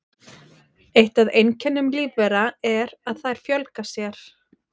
Eitt af einkennum lífvera er að þær fjölga sér.